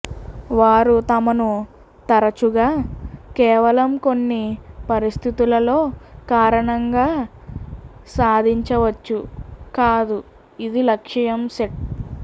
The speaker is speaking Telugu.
వారు తమను తరచుగా కేవలం కొన్ని పరిస్థితులలో కారణంగా సాధించవచ్చు కాదు ఇది లక్ష్యం సెట్